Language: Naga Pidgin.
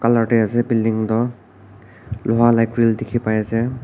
colour te ase building tu Loha vala grin dekhi pai ase.